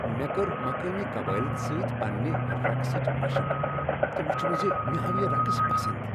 مےٚ کٔر مقٲمی قبٲئلن سۭتۍ پننہ رقصچہِ مشق تہٕ وٗچھٗم زِ مےٚ آو یہ رقص پسند ۔